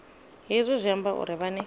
hezwi zwi amba uri vhane